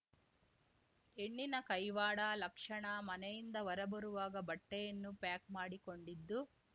ಹೆಣ್ಣಿನ ಕೈವಾಡ ಲಕ್ಷಣ ಮನೆಯಿಂದ ಹೊರಬರುವಾಗ ಬಟ್ಟೆಯನ್ನು ಪ್ಯಾಕ್ ಮಾಡಿಕೊಂಡಿದ್ದು